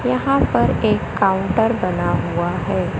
यहां पर एक काउंटर बना हुआ है।